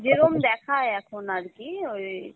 যেরম দেখাই এখন আর কি ওই